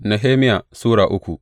Nehemiya Sura uku